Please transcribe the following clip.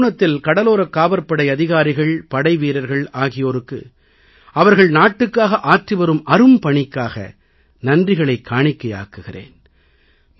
இந்தத் தருணத்தில் கடலோரக் காவற் படை அதிகாரிகள் படைவீரர்கள் ஆகியோருக்கு அவர்கள் நாட்டுக்காக ஆற்றி வரும் அரும்பணிக்காக நன்றிகளைக் காணிக்கையாக்குகிறேன்